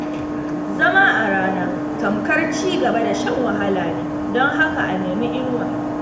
Zama a rana, tamkar cigaba da shan wahala ne, don haka a nemi inuwa.